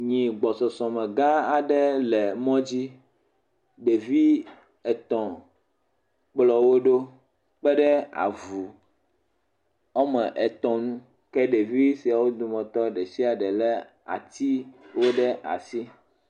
Nyi gbɔsɔsɔ me gã aɖe le mmɔ dzi, ɖevi etɔ kplɔ woɖo kpe ɖe avu woame etɔ ŋu. ke ɖevi siawo dometɔ ɖe sia ɖe lé atiwo ɖe asi.